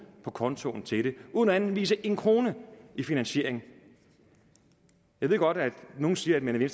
på kontoen til det uden at anvise en krone i finansiering jeg ved godt at nogle siger at man i